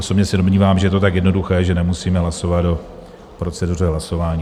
Osobně se domnívám, že je to tak jednoduché, že nemusíme hlasovat o proceduře hlasování.